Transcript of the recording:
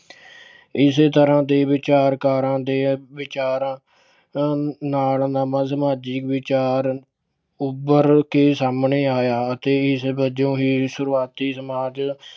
ਇਸ ਤਰ੍ਹਾਂ ਦੇ ਵਿਚਾਰਕਾਂ ਦੇ ਵਿਚਾਰਾਂ ਅ ਅਹ ਨਾਲ ਸਮਾਜਿਕ ਵਿਚਾਰ ਉੱਭਰ ਕੇ ਸਾਹਮਣੇ ਆਇਆ ਅਤੇ ਇਸ ਵਜੋਂ ਹੀ ਸ਼ੁਰੂਆਤੀ ਸਮਾਜ